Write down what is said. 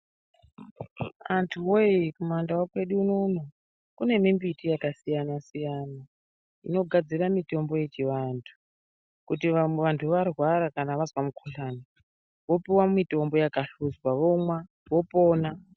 Antu wekumandau kwedu unono kune mimbiti yakasiyana siyana inogadzira mitombo yechivantu kuti vantu varwara vanzwa mukuhlani vopuwa mitombo yakahluxa vomwa vopona.